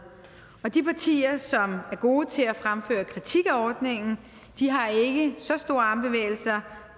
de partier som er gode til at fremføre kritik af ordningen har ikke så store armbevægelser